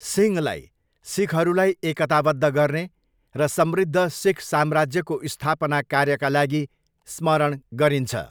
सिंहलाई सिखहरूलाई एकताबद्ध गर्ने र समृद्ध सिख साम्राज्यको स्थापना कार्यका लागि स्मरण गरिन्छ।